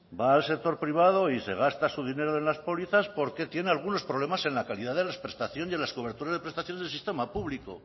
va al sector privado y se gasta su dinero en las pólizas porque tiene algunos problemas en la calidad de la prestación y en las coberturas de prestación del sistema público